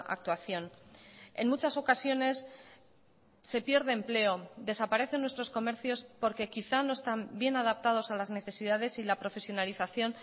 actuación en muchas ocasiones se pierde empleo desaparecen nuestros comercios porque quizá no están bien adaptados a las necesidades y la profesionalización